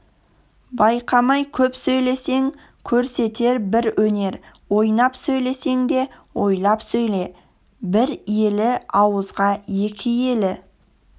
байқамай көп сөйлесең көрсетер бір өнер ойнап сөйлесең де ойлап сөйле бір елі ауызға екі елі